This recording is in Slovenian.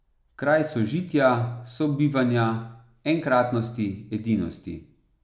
Kraj sožitja, sobivanja, enkratnosti, edinosti.